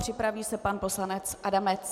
Připraví se pan poslanec Adamec.